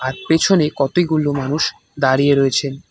আর পেছনে কতিগুলো মানুষ দাঁড়িয়ে রয়েছেন।